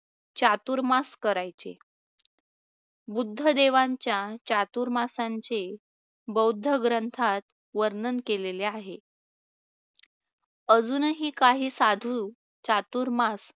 चातुर्मास करायचे बुद्ध देवांच्या चातुर्मासांचे बौद्ध ग्रंथात वर्णन केलेले आहे. अजूनही काही साधू चातुर्मास